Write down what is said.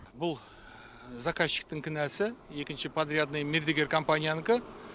бұл заказчиктің кінәсі екінші подрядный мердігер компаниянікі